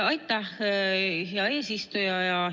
Aitäh, hea eesistuja!